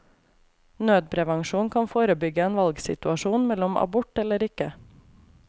Nødprevensjon kan forebygge en valgsituasjon mellom abort eller ikke.